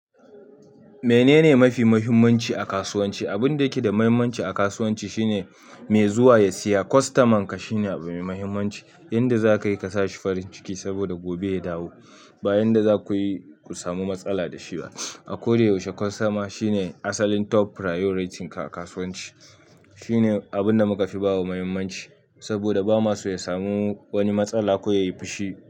Menene mafi muhimmanci a kasuwanci? Abun da yake da muhimmanci a kasuwanci shine mai zuwa ya siya, kostaman ka shine abu mai muhimmanci, yanda za ka yi ka sa shi farin ciki saboda gobe ya dawo. Ba yanda zaku yi ku samu matsala da shi ba a ko da yaushe kostoma shine asalin top priority ka a kasuwanci. Shine abinda muka fi bawa mahimmanci saboda bama do ya samu wani matsala ko yayi fushi.